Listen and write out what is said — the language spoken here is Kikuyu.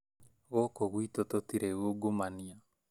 Gũkũ gwitũ tũtirĩ ungumania